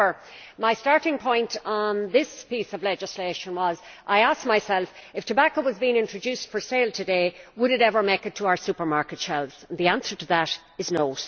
However, my starting point on this piece of legislation was that I asked myself if tobacco were being introduced for sale today, would it ever make it to our supermarket shelves? And the answer to that is no.